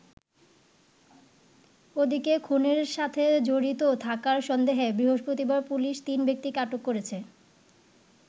ওদিকে খুনের সাথে জড়িত থাকার সন্দেহে বৃহস্পতিবার পুলিশ তিন ব্যক্তিকে আটক করেছে।